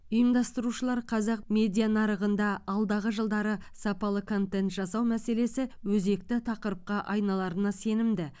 ұйымдастырушылар қазақ медиа нарығында алдағы жылдары сапалы контент жасау мәселесі өзекті тақырыпқа айналарына сенімді